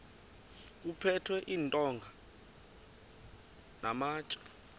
kuphethwe iintonga namatye